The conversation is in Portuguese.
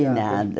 De nada.